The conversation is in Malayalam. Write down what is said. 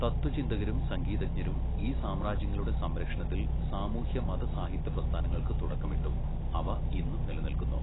തത്ത്വചിന്തകരും സംഗീതജ്ഞരും ഈ സാമ്രാജ്യങ്ങളുടെ സംരക്ഷണത്തിൽ സാമൂഹ്യ മത സാഹിത്യ പ്രസ്ഥാനങ്ങൾക്ക് തുടക്കമിട്ടു, അവ ഇന്നും നിലനിൽക്കുന്നു.